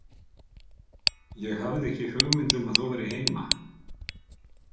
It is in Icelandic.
Ég hafði ekki hugmynd um að þú værir heima